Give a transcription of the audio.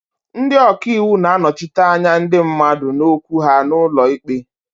Ndị ọka iwu na-anọchite anya ndị mmadụ na okwu ha n'ụlọ ikpe.